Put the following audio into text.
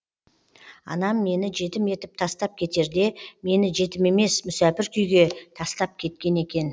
анам мені жетім етіп тастап кетерде мені жетім емес мүсәпір күйге тастап кеткен екен